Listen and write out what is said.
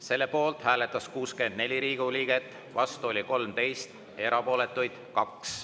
Selle poolt hääletas 64 Riigikogu liiget, vastu 13, erapooletuid on 2.